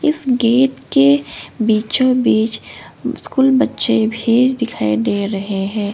इस गेट के बीचो बीच स्कूल बच्चे भी दिखाई दे रहे हैं।